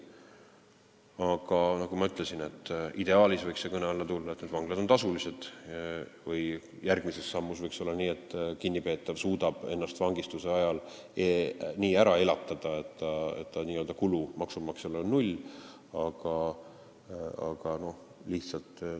Aga nagu ma ütlesin, ideaalis võiks kõne alla tulla, et vanglad on tasulised, või järgmise sammuna võiks olla nii, et kinnipeetav suudab ennast vangistuse ajal nii ära elatada, et maksumaksja kulud on null.